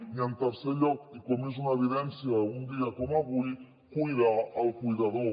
i en tercer lloc i com és una evidència d’un dia com avui cuidar el cuidador